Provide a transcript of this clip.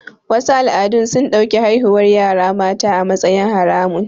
Wasu al'adun sun ɗauki haihuwar yara mata a matsayin haramun